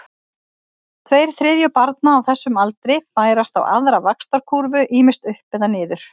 Tveir þriðju barna á þessum aldri færast á aðra vaxtarkúrfu, ýmist upp eða niður.